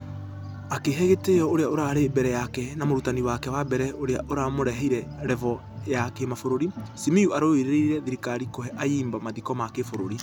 Akĩhe gĩtĩyo ũrĩa ũrarĩ mbere yake na mũrutani wake wa mbere ũrĩa ũramũrehire revo ya kĩmabũrũri ,simiyu arũririe thirikarĩ kũhe ayimba mathiko ma kĩbũrũri.